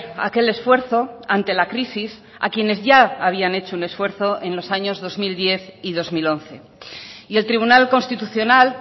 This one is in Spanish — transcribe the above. aquel esfuerzo ante la crisis a quienes ya habían hecho un esfuerzo en los años dos mil diez y dos mil once y el tribunal constitucional